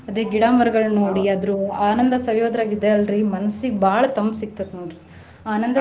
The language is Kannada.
ಅದೇ ಗಿಡಾ ಮರಗಳನ್ನ ನೋಡಿ ಅದ್ರ ಆನಂದ ಸವಿಯೋದ್ರಾಗ ಇದ ಅಲ್ರಿ ಮನ್ಸಿಗ ಬಾಳ ತಂಪ ಸಿಗತೈತಿ ನೋಡ್ರಿ ಆನಂದ.